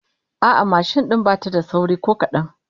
A'a, mashin din bata da sauri ko kadan